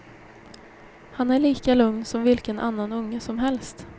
Han är lika lugn som vilken annan unge som helst.